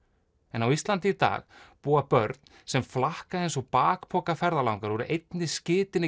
en á Íslandi í dag búa börn sem flakka eins og bakpokaferðalangar úr einni